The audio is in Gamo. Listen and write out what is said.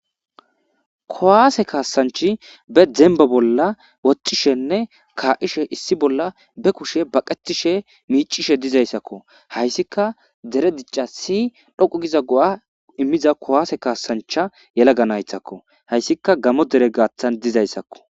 Kuwasse kassanichi be demibba bolla woxishene ka'ishene issi bolla bee kushe baqitishe miccishe dizayitakko. Haysikka dere dichasi dhoqu gida go'a imizayisa kuwasse kassacha yalaga nayitako hayisika gamo derre gathani dizayisako